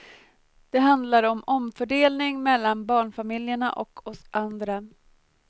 Det handlar om omfördelning mellan barnfamiljerna och oss andra.